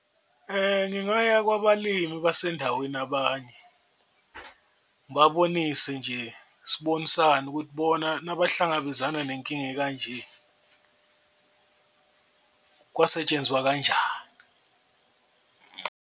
Ngingaya kwabalimi basendaweni abanye ngibabonise nje sibonisane ukuthi bona nabahlangabezana nenkinga ekanje, kwasetshenzwa kanjani.